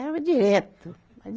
Eram direto.